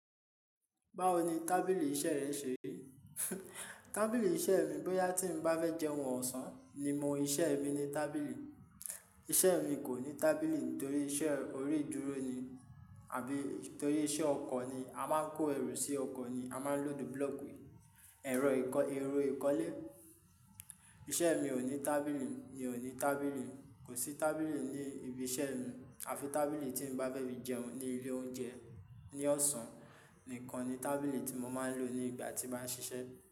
Báwo ni tábìlì iṣẹ́ rẹ ṣe? Tábìlì iṣẹ́ mi, bóyá tí mo bá fẹ́ jẹun ọ̀sán ni mo ń ṣe ẹ́ ní tábìlì. Iṣẹ́ mi kò ní tábìlì nítorí iṣẹ́ orí ìdúró ni àbí torí iṣẹ́ ọkàn ni. A máa ń kó ẹrù sí ọkọ̀ ni, a máa ń lo búlọ́ọ̀kì, ẹ̀rò ìkọ́, ẹ̀rò ìkọ́lé. Iṣẹ́ mi ò ní tábìlì, mi ò ní tábìlì, kò sí tábìlì ní ibi iṣẹ́ mi àfi tábìlì tí mo bá fẹ́ bí jẹun ní ilé oúnjẹ ní ọ̀sán nìkan ni tábìlì tí mo máa ń lò nígbà tí màá ṣiṣẹ́